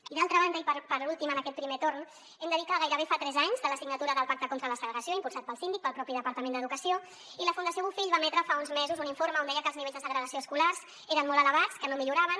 i d’altra banda i per últim en aquest primer torn hem de dir que gairebé fa tres anys de la signatura del pacte contra la segregació impulsat pel síndic i pel propi departament d’educació i la fundació bofill va emetre fa uns mesos un informe on deia que els nivells de segregació escolars eren molt elevats que no milloraven